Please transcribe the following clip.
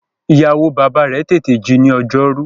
Ìyàwó-bàbá rẹ̀ tètè ji ní ọjọ́rú.